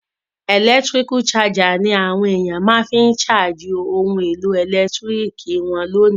Electrical charger ni àwon èyàn ma fi n charge oun èlò ẹ̀lẹ́ntiriki won lónìí